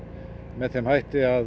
með þeim hætti að